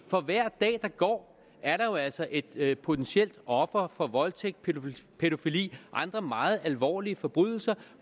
for hver dag der går er der jo altså et et potentielt offer for voldtægt pædofili og andre meget alvorlige forbrydelser